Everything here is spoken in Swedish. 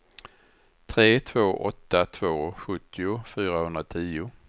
tre två åtta två sjuttio fyrahundratio